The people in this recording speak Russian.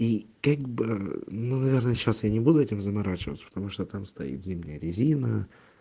и как бы ну наверное сейчас я не буду этим заморачиваться потому что там стоит зимняя резина